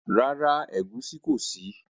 Rárá, ẹ̀gùn kò sí.